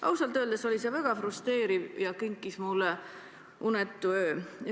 Ausalt öeldes oli see väga frustreeriv ja kinkis mulle unetu öö.